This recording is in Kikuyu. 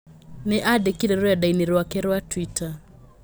Nĩ andĩ kire rũrendainĩ rwake rwa twita